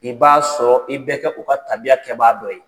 I b'a sɔrɔ i bɛ kɛ u ka tabiya kɛ baa dɔ ye.